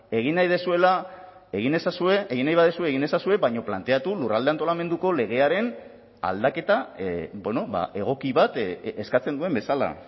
egin nahi duzuela egin ezazue egin nahi baduzue egin ezazue baina planteatu lurralde antolamenduko legearen aldaketa egoki bat eskatzen duen bezala